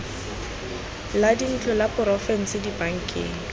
la dintlo la porofense dibankeng